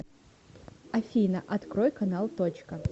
афина открой канал точка